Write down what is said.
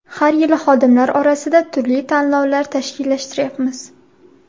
Har yili xodimlar orasida turli tanlovlar tashkillashtiryapmiz.